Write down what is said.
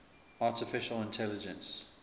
artificial intelligence